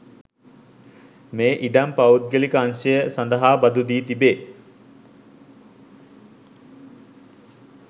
මේ ඉඩම් පෞද්ගලික අංශය සඳහා බදු දී තිබේ